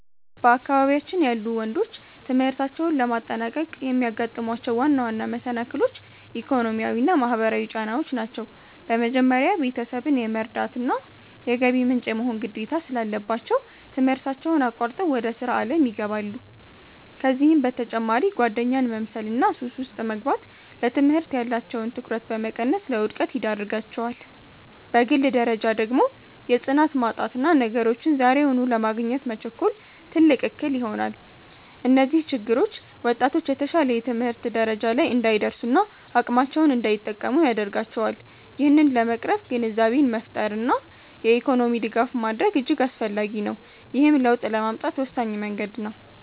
በአካባቢያችን ያሉ ወንዶች ትምህርታቸውን ለማጠናቀቅ የሚያጋጥሟቸው ዋና ዋና መሰናክሎች፣ ኢኮኖሚያዊና ማህበራዊ ጫናዎች ናቸው። በመጀመሪያ፣ ቤተሰብን የመርዳትና የገቢ ምንጭ የመሆን ግዴታ ስላለባቸው፣ ትምህርታቸውን አቋርጠው ወደ ሥራ ዓለም ይገባሉ። ከዚህም በተጨማሪ ጓደኛን መምሰልና ሱስ ውስጥ መግባት፣ ለትምህርት ያላቸውን ትኩረት በመቀነስ ለውድቀት ይዳርጋቸዋል። በግል ደረጃ ደግሞ የጽናት ማጣትና ነገሮችን ዛሬውኑ ለማግኘት መቸኮል፣ ትልቅ እክል ይሆናል። እነዚህ ችግሮች ወጣቶች የተሻለ የትምህርት ደረጃ ላይ እንዳይደርሱና አቅማቸውን እንዳይጠቀሙ ያደርጋቸዋል። ይህንን ለመቅረፍ ግንዛቤን መፍጠርና የኢኮኖሚ ድጋፍ ማድረግ እጅግ አስፈላጊ ነው፤ ይህም ለውጥ ለማምጣት ወሳኝ መንገድ ነው።